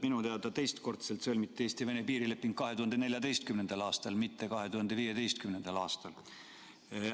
Minu teada sõlmiti Eesti-Venemaa piirileping teistkordselt 2014. aastal, mitte 2015. aastal.